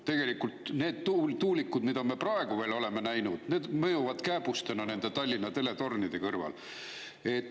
Tegelikult need tuulikud, mida me praegu oleme näinud, mõjuvad kääbustena nende Tallinna teletornide kõrval.